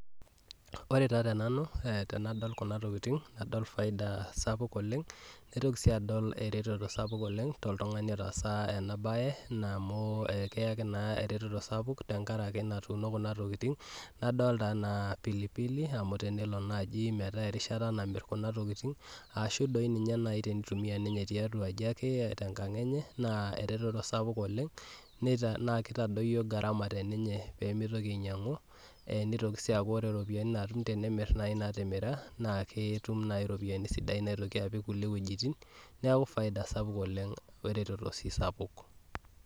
Ore taa tenanu tenadol nena tokitin adol faida sapuk oleng naitoki sii adol eretoto sapuk oleng toltung'ani otaasa ena baye amu keyaki naa eretoto sapuk oleng tekuna tokitin adolita pilipili ore naaji enaa erishata namir kuna tokitin ashuu doi teneitumiya ninye tiatua aji enye naa eretoto sapuk oleng naa keitagol naa keitadoyio garama teninye peemeitoki ainyiang'u neitoki sii aku ore iropiyiani naamir naa ketum naaji iropiyiani sidain naapiki kulie wuejitin naa ereteto sii sapuk.